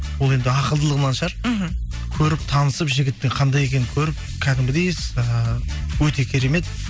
ол енді ақылдылығынан шығар мхм көріп танысып жігіттің қандай екенін көріп кәдімгідей ііі өте керемет